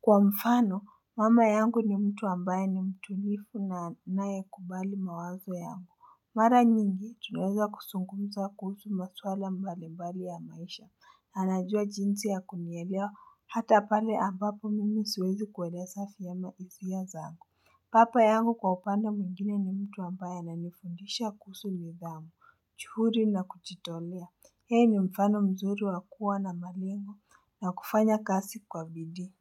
Kwa mfano mama yangu ni mtu ambaye ni mtulifu na anayekubali mawazo yangu Mara nyingi, tunaeza kusungumza kuhusu maswala mbalimbali ya maisha, anajua jinsi ya kunielewa hata pale ambapo mimi siwezi kueleza vyema hisia zangu. Papa yangu kwa upande mwingine ni mtu ambaye ananifundisha kuhusu nidhamu, juhudii na kujitolea. Yeye ni mfano mzuri wa kuwa na malengo na kufanya kasi kwa vidi.